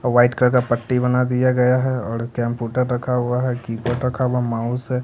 और white colour का पट्टी बना दिया गया है और कम्प्यूटर रखा हुआ किबोर्ड रखा हुआ है माउस है।